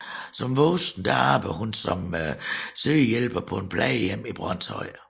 Som voksen arbejdede hun som sygehjælper på et plejehjem i Brønshøj